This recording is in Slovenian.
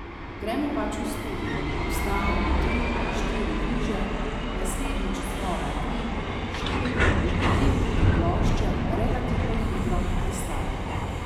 Gremo pač v studio, posnamemo tri, štiri viže, naslednjič znova tri, štiri in potem tudi plošče relativno hitro nastajajo.